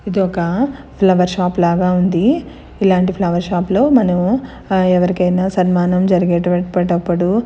ఇది ఒకా flower shop లాగా ఉంది ఇలాంటి ఫ్లవర్ షాప్ లో మనము ఆ ఎవరికైనా సన్మానం జరిగేటువటప్పుడు. -